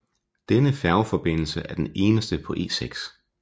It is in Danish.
Denne færgeforbindelse er den eneste på E6